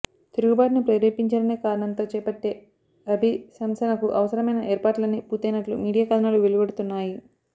తిరుగు బాటును ప్రేరేపించారనే కారణంతో చేపట్టే అభిశంసనకు అవసరమైన ఏర్పాట్లన్నీ పూర్తయినట్లు మీడియా కథనాలు వెలువడుతున్నాయి